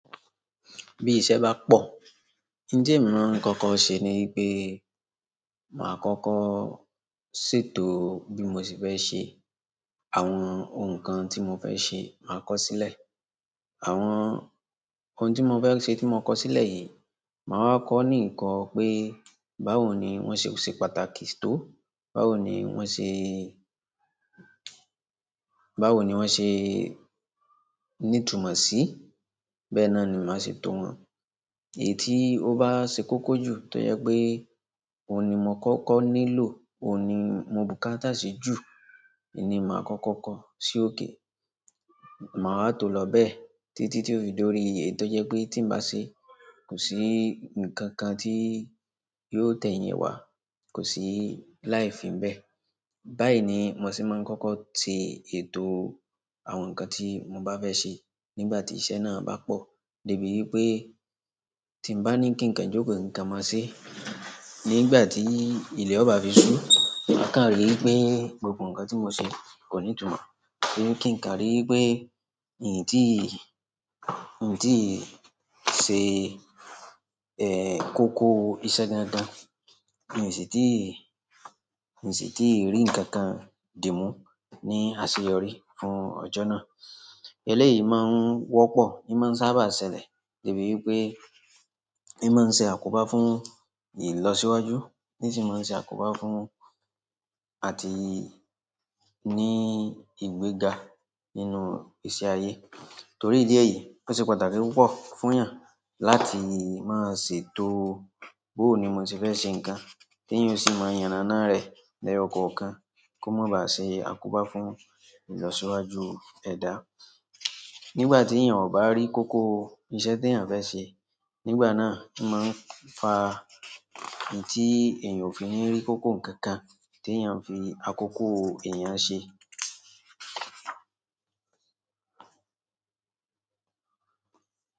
Bí iṣẹ́ bá pọ̀, nti emi mọ̀ ń kọ́kọ́ ṣe ni pé màá kọ́kọ́ ṣètò bí mo ṣe fẹ́ ṣe àwọn ohun kan tí mo fẹ́ ṣe, màá kọ́ sílẹ̀. Àwọn ohun tí mo fẹ́ ṣe tí mo kọ sílẹ̀ yìí, màá wa kọ́ ní ikọ pé báwo ni wọ́n ṣe ò ṣe pàtàkì tó, báwo ni wọ́n ṣe, báwo ni wọ́n ṣe ní ìtumọ̀ sí, bẹ́ẹ̀ náà ni màá ṣe tò wọ́n. Èyí tí ó bá ṣe kókó jù tó jẹ́ pé òun ni mò kọ́kọ́ nílò, òun ni mo bùkátà sí jù nni màá kọ́kọ́ kọ́ sókè. Màá wa tò lọ bẹ́ẹ̀ títí tí ó fi dórí èyí tó jẹ́ pé tí n bá ṣe kò sí ǹkan kan tí yóò tẹ̀ yin wá, kò sí láìfì n bẹ́ẹ̀. Báyìí ni mo se máa ń kọ́kọ́ se ètò àwọn ǹkan tí mo bá fẹ́ ṣe nígbà tí iṣẹ́ náà bá pọ̀. Débi wípé tí n bá ní kí ǹkan jókòó, ki ǹkan máa ṣe. Nígbà tí ilẹ̀ ò bá fi sú, maa kan rí wípé gbogbo ǹkan tí mo ṣe kò ní ìtumọ̀. Kí ǹkan rí wípé èyí tí, èyí tí ṣe, eh, kókó iṣẹ́ dáadáa, hin sì tí, hin sì tí rí ǹkan kan dì mú ní àṣeyọrí fún ọjọ́ náà. Eléyìí máa ń wọ́pọ̀, ní man sábà ṣẹlẹ̀ débi wípé i máa ń ṣe àkóbá fún ìlọsíwájú in sì máa ń ṣe àkóbá fún àti ní ìgbéga nínú ìṣe ayé. Torí ìdí ẹyí, ó ṣe pàtàkì púpọ̀ fún èèyàn láti máa ṣètò bóò ni mo ṣe fẹ́ ṣe ǹkan, kí eyan ó sì máa yanàná rẹ̀ l'ẹyokọ̀ọ̀kan kó má ba à ṣe àkóbá fún ìlọsíwájú ẹ̀dá. Nígbà tí èèyàn ò bá rí kókó iṣẹ́ tí èèyàn fẹ́ ṣe, nígbà náà a máa ń fa èyí tí èèyàn ò fi ní rí kókó ǹkan kan tí èèyàn fi àkókò èèyàn ṣe.